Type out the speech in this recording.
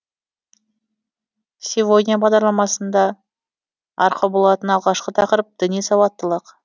сегодня бағдарламасында арқау болатын алғашқы тақырып діни сауаттылық